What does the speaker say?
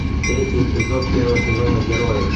третий эпизод первого сезона герои